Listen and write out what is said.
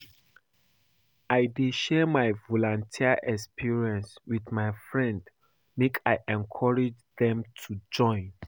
I dey share my volunteer experience wit my friends make I encourage dem to join.